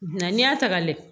Nka n'i y'a ta ka layɛ